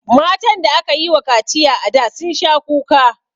Matan da aka yi wa kaciya a da sun sha kuka